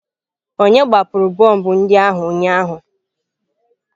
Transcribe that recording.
Onye gbapụrụ bọmbụ ndị ahụ ụnyaahụ?